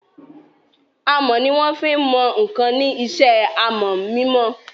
Amọ̀ ni wọ́n fí n mọ ǹkan ní isẹ́ amọ̀ mímọ